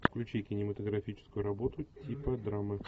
включи кинематографическую работу типа драмы